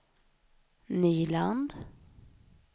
Nyland